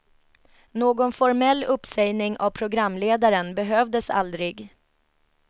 Någon formell uppsägning av programledaren behövdes aldrig.